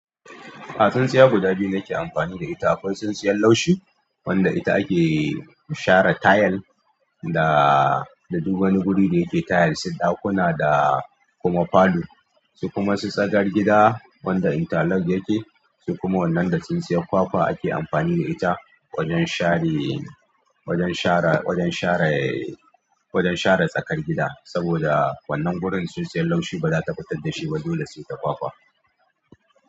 A tsintsiya guda biyu nake amfani da ita. Akwai tsintsiyan laushi wanda ita ake share tayil da duk wani guri da yake tayil su ɗakuna da kuma falo su kuma su tsakar gida wanda inter lock yake su kuma wannan da tsintsiyar kwakwa ake amfani da ita wajen share wajen share, wajen share, wajen share tsakar gida. Saboda wannan gurin tsintsiyar laushi ba za ta fitar da shi ba dole sai ta kwakwa.